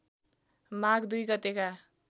माघ २ गतेका